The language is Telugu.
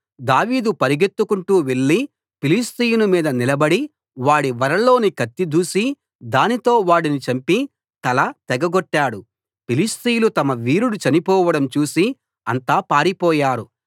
దావీదు పరుగెత్తుకుంటూ వెళ్ళి ఫిలిష్తీయుని మీద నిలబడి వాడి వరలోని కత్తి దూసి దానితో వాడిని చంపి తల తెగగొట్టాడు ఫిలిష్తీయులు తమ వీరుడు చనిపోవడం చూసి అంతా పారిపోయారు